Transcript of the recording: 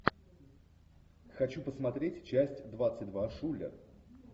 хочу посмотреть часть двадцать два шулер